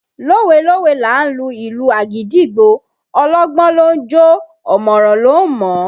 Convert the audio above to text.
Lówe lówe là á lu ìlù àgídìgbo, ọlọ́gbọ́n ló ń jó o ọ̀mọ̀ràn ló ń mọ̀ ọ́